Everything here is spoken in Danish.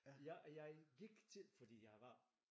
Jeg jeg gik til fordi jeg var